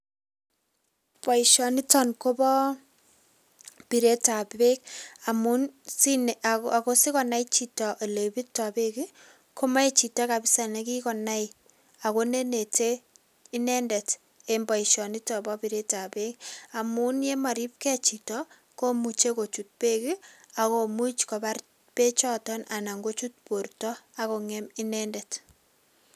Boisioniton kobo biretab beek, amun, sinai, ako sikonai chito ole birtoi beek ko mae chito kabisa ne kikoi nai, akunenete inendet eng boisionito bo biretab beek amun ye maribgei chito, ko muche kochut beek akumuch kobar beechoton anan kuchut borta akung'em inendet.